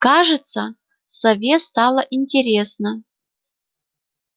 кажется сове стало интересно